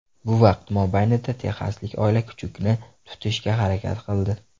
Bu vaqt mobaynida texaslik oila kuchukni tutishga harakat qildi.